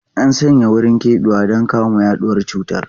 An sanya wurin keɓewa don kamo yaduwar cutar.